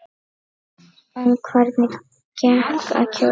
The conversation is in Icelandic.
En hvernig gekk að kjósa?